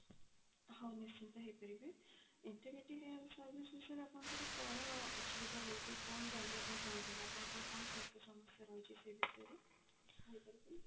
ହଁ ନିଶ୍ଚିନ୍ତ ହେଇପାରିବେ integrating health service ବିଷୟରେ ଆପଣଙ୍କର କଣ ଅସୁବିଧା ରହୁଛି କଣ ଜାଣିବା ପାଇଁ ଚାହୁଁଛନ୍ତି ଆପଣଙ୍କର କଣ ସ୍ୱାସ୍ଥ୍ୟ ସମସ୍ୟା ରହୁଛି ସେ ବିଷୟରେ କହି ପାରିବେ